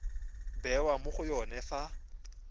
bewa mo go yone fa